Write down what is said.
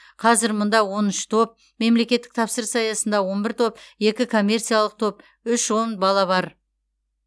қазір мұнда он үш топ мемлекеттік тапсырыс аясында он бір топ екі коммерциялық топ үш он бала бар